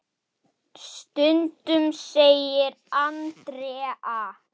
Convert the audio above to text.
Stundum segir Andrea.